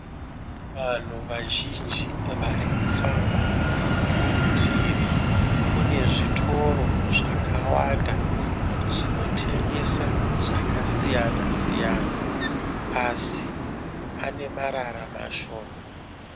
Vanhu vazhinji varikufamba, kurutivi kune zvitoro zvakawanda zvinotengesa zvakasiyana siyana asi pane marara mashoma.